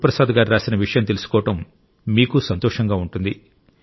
గురుప్రసాద్ గారు రాసిన విషయం తెలుసుకోవడం మీకూ సంతోషంగా ఉంటుంది